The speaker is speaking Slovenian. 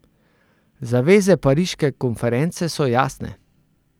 Zaveze pariške konference so jasne.